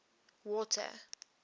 water